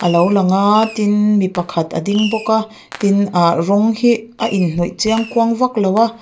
a lo lang aa tin mi pakhat a ding bawk a tin ah rawng hi a inhnawih chiang kuang vaklo a.